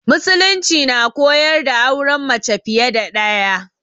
Musulunci na koyar da auren mace fiye da ɗaya.